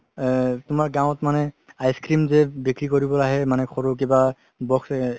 এহ তুমাৰ গাওঁত মানে ice-cream যে বিক্ৰি কৰিবলৈ আহে সেই মানে সৰু কিবা box